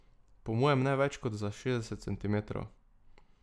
Po mojem ne več kot šestdeset centimetrov.